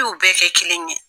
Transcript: I yu bɛɛ kɛ kelen ye.